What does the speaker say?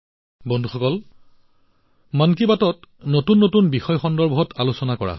বন্ধুসকল মন কী বাতত নতুন বিষয়ৰ ওপৰত আলোচনা কৰা হৈছে